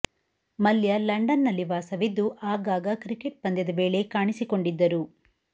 Mallya London ನಲ್ಲಿ ವಾಸವಿದ್ದು ಆಗಾಗ ಕ್ರಿಕೆಟ್ ಪಂದ್ಯದ ವೇಳೆ ಕಾಣಿಸಿಕೊಂಡಿದ್ದರು